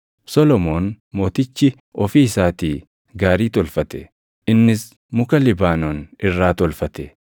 Solomoon mootichi ofii isaatii gaarii tolfate; innis muka Libaanoon irraa tolfate.